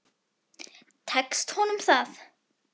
Tekst honum það?